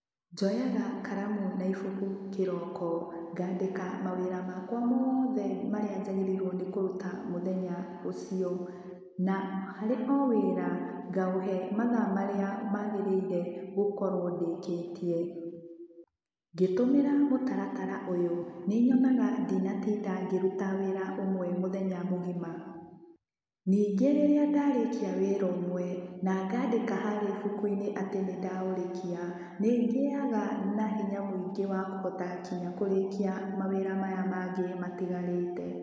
Njoyaga karamu na ibuku kĩroko, ngaandĩka mawĩra makwa mothe marĩa njagĩrĩirwo nĩ kũruta mũthenya ũcio, na harĩ o wĩra, ngaũhe mathaa marĩa maagĩrĩire gũkorwo ndĩkĩtie. Ngĩtũmĩra mũtaratara ũyũ, nĩ nyonaga ndinatinda ngĩruta wĩra ũmwe mũthenya mũgima. Ningĩ rĩria ndarĩkia wĩra ũmwe na ngaandĩka harĩa ibuku-inĩ atĩ nĩndaũrĩkia, nĩ ngĩaga na hinya mũingĩ wa kũhota nginya kũrĩkia mawĩra maya mangĩ matigarĩte.